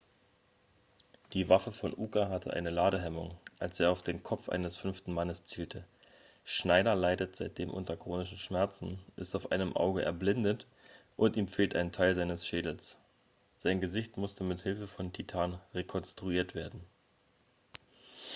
die waffe von uka hatte eine ladehemmung als er auf den kopf eines fünften mannes zielte schneider leitet seitdem unter chronischen schmerzen ist auf einem auge erblindet und ihm fehlt ein teil seines schädels sein gesicht musste mit hilfe von titan rekonstruiert werden